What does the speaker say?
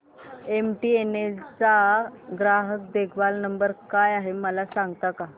MTNL चा ग्राहक देखभाल नंबर काय आहे मला सांगता का